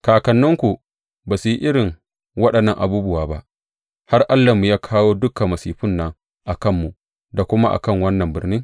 Kakanninku ba su yi irin waɗannan abubuwa ba, har Allahnmu ya kawo dukan masifun nan a kanmu da kuma a kan wannan birni?